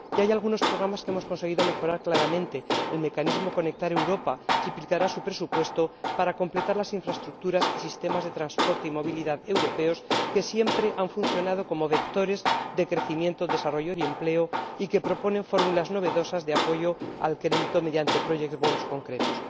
Ya hay algunos programas que hemos conseguido mejorar claramente el mecanismo Conectar Europa triplicará su presupuesto para completar las infraestructuras y sistemas de transporte y movilidad europeos, que siempre han funcionado como vectores de crecimiento, desarrollo y empleo, y que proponen fórmulas novedosas de apoyo al crédito mediante project bonds concretos.